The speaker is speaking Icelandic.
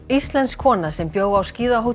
íslensk kona sem bjó á